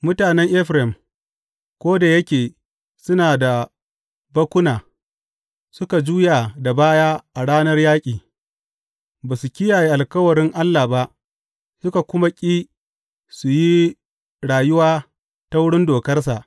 Mutanen Efraim, ko da yake suna da bakkuna, suka juya da baya a ranar yaƙi; ba su kiyaye alkawarin Allah ba suka kuma ƙi su yi rayuwa ta wurin dokarsa.